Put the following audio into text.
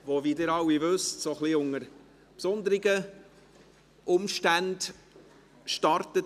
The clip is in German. Diese startet, wie Sie alle wissen, von etwas besonderen Umständen begleitet.